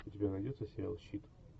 у тебя найдется сериал щит